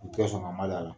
U tɛ sɔn ka mada la